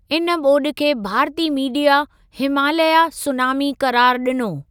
इन ॿोॾि खे भारती मीडिया 'हिमालया सूनामी' क़रारु ॾिनो।